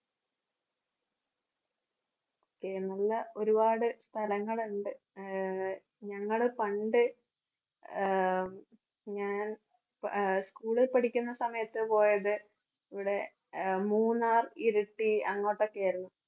എന്നുള്ള ഒരുപാട് സ്ഥലങ്ങൾ ഉണ്ട്. ആഹ് ഞങ്ങള് പണ്ട് ആഹ് ഞാൻ ആഹ് school ൽ പഠിക്കുന്ന സമയത്ത് പോയത് ഇവിടെ അഹ് മൂന്നാർ, ഇരിട്ടി അങ്ങോട്ടോക്കെ ആയിരുന്നു.